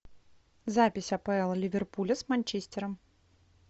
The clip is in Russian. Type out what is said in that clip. запись апл ливерпуля с манчестером